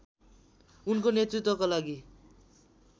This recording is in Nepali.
उनको नेतृत्वको लागि